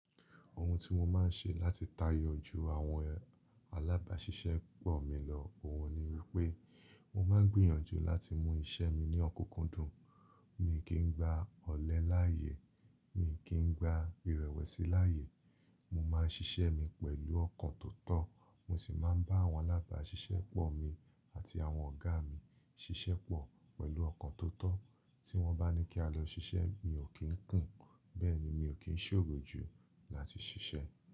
Ohun tí mo máa ń ṣe láti tayọ ju àwọn alábáṣiṣẹ́ pọ̀ mi lọ, òhun ni wípé mo máa ń gbìyànjú láti mú iṣẹ́ mi ní ọ̀kunkundùn. Mi kì í n gba ọ̀lẹ láàyè, mi kì í n gba ìrẹ̀wẹ̀sì láàyè. Mo máa ń ṣiṣẹ́ mi pẹ̀lú ọkàn tó tọ́, mo sì máa ń bá àwọn alábáṣiṣẹ́ pọ̀ mi àti àwọn ọ̀gá mi ṣiṣẹ́ pọ̀ pẹ̀lú ọkàn tó tọ́. Tí wọ́n bá ní kí a lọ ṣiṣẹ́, mi ò kí ń kùn, bẹ́ẹ̀ ni mi ò kí ń ṣòro ju láti ṣiṣẹ́.